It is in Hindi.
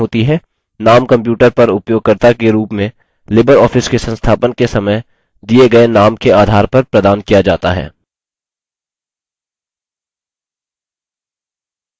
इस प्रकार डॉक्युमेंट में टिप्पणी करने वाले व्यक्ति की पहचान होती है नाम कंप्यूटर पर उपयोगकर्ता के रूप में लिबरऑफिस के संस्थापन के समय दिए गए नाम के आधार पर प्रदान किया जाता है